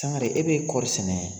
Sangare e bɛ ye kɔɔɔri sɛnɛ